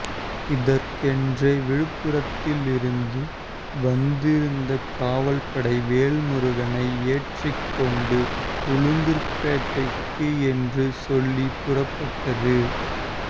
இதற்கென்றே விழுப்புரத்திலிருந்து வந்திருந்த காவல்படை வேல்முருகனை ஏற்றிக்கொண்டு உளுந்தூர்பேட்டைக்கு என்று சொல்லி புறப்பட்டது